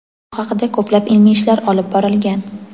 Bu haqida ko‘plab ilmiy ishlar olib borilgan.